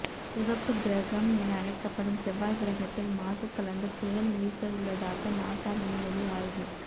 சிவப்பு கிரகம் என அழைக்கப்படும் செவ்வாய் கிரகத்தில் மாசு கலந்து புயல் வீசவுள்ளதாக நாசா விண்வெளி ஆய்வு